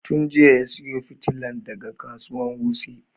Tun jiya ya sayo fitilan daga kasuwan wuse